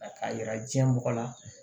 K'a yira diɲɛ mɔgɔ la